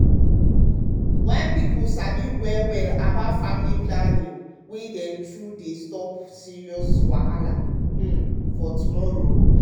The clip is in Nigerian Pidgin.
wen pipo sabi well well about family planning way dem true dey stop plenty serious wahala um for um tomorrow.